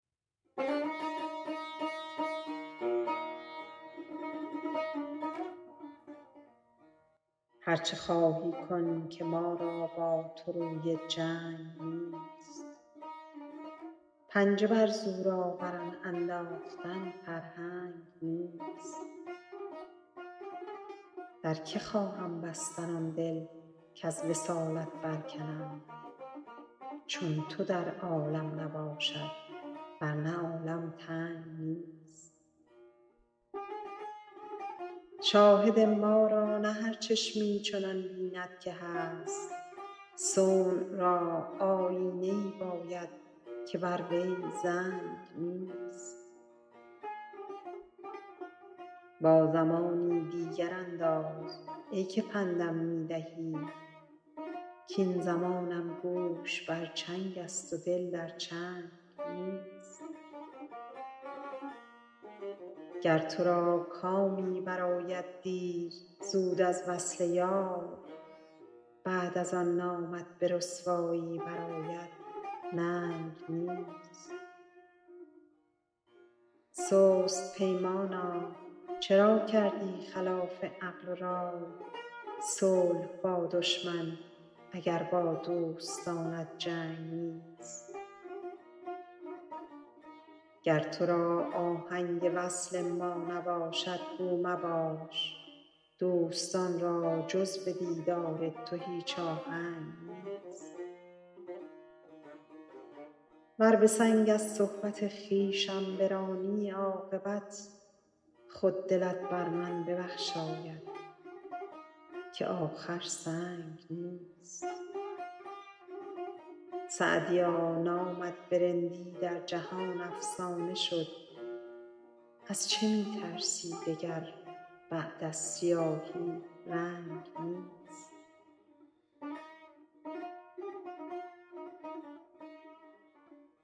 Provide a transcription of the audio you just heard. هر چه خواهی کن که ما را با تو روی جنگ نیست پنجه بر زورآوران انداختن فرهنگ نیست در که خواهم بستن آن دل کز وصالت برکنم چون تو در عالم نباشد ور نه عالم تنگ نیست شاهد ما را نه هر چشمی چنان بیند که هست صنع را آیینه ای باید که بر وی زنگ نیست با زمانی دیگر انداز ای که پند م می دهی کاین زمانم گوش بر چنگ است و دل در چنگ نیست گر تو را کامی برآید دیر زود از وصل یار بعد از آن نامت به رسوایی برآید ننگ نیست سست پیمانا چرا کردی خلاف عقل و رای صلح با دشمن اگر با دوستانت جنگ نیست گر تو را آهنگ وصل ما نباشد گو مباش دوستان را جز به دیدار تو هیچ آهنگ نیست ور به سنگ از صحبت خویشم برانی عاقبت خود دلت بر من ببخشاید که آخر سنگ نیست سعدیا نامت به رندی در جهان افسانه شد از چه می ترسی دگر بعد از سیاهی رنگ نیست